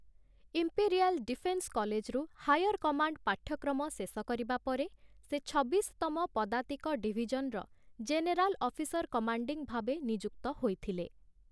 Imperial defence କଲେଜରୁ 'higher command' ପାଠ୍ୟକ୍ରମ ଶେଷ କରିବା ପରେ, ସେ ଛବିଶତମ ପଦାତିକ ଡିଭିଜନର ଜେନେରାଲ୍ ଅଫିସର୍ କମାଣ୍ଡିଂ ଭାବେ ନିଯୁକ୍ତ ହୋଇଥିଲେ ।